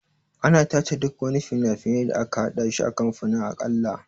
Ana tace duk wani fina-finai da aka haɗa shi kafin a kalla.